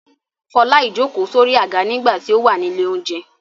Fọlá ìjókòó sórí àga nígbà tí ó wà ní ilé-oúnjẹ.